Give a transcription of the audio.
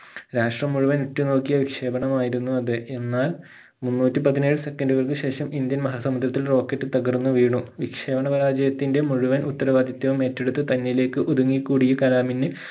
രാഷ്ട്രം മുഴുവൻ ഉറ്റുനോക്കിയ വിക്ഷേപണമായിരുന്നു അത് എന്നാൽ മുന്നൂറ്റി പതിനേഴ് second കൾക്ക് ശേഷം indian മഹാ സമുദ്രത്തിൽ rocket തകർന്നു വീണു വിക്ഷേപണ പരാജയത്തിന്റെ മുഴുവൻ ഉത്തരവാദിത്വവും ഏറ്റെടുത്ത് തന്നിലേക്ക് ഒതുങ്ങി കൂടിയ കലാമിന്ന്